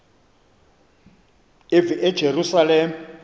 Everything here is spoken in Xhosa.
eyerusalem